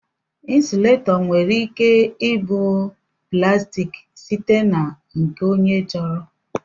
Insuletọ nwere ike ịbụ plaastiki site na nke onye chọrọ.